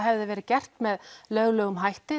verið gert með löglegum hætti